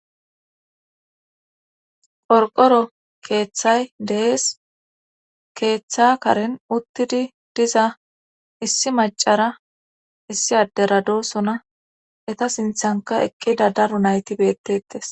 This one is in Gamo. Qorqoro keeththay dees keeththa karen uttidi diza issi macara issi addera dosona eta siinththanka eqqida daro nayti beettetees